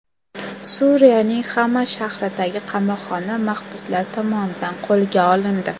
Suriyaning Xama shahridagi qamoqxona mahbuslar tomonidan qo‘lga olindi.